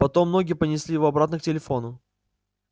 потом ноги понесли его обратно к телефону